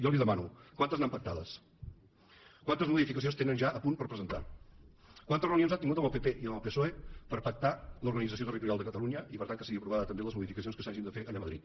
jo li demano quantes n’han pactades quantes modificacions tenen ja a punt per presentar quantes reunions han tingut amb el pp i amb el psoe per pactar l’organització territorial de catalunya i per tant que siguin aprovades també les modificacions que s’hagin de fer allà a madrid